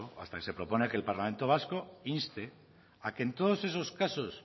hasta que se propone que el parlamento vasco inste a que en todos esos casos